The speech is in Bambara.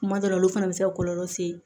Kuma dɔ la olu fana bɛ se ka kɔlɔlɔ se